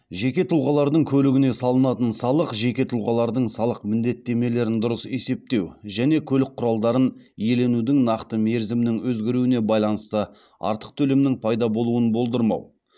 жеке тұлғалардың көлігіне салынатын салық жеке тұлғалардың салық міндеттемелерін дұрыс есептеу және көлік құралдарын иеленудің нақты мерзімнің өзгеруіне байланысты артық төлемнің пайда болуын болдырмау